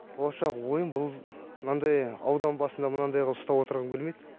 болашақ ойым бұл мынандай аудан басында мынандай қылып ұстап отырғым келмейді